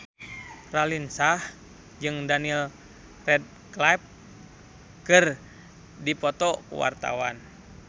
Raline Shah jeung Daniel Radcliffe keur dipoto ku wartawan